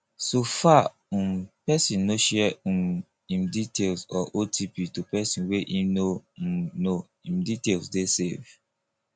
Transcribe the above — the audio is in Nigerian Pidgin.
so far um person no share um im details or otp to person wey im no um know im details dey safe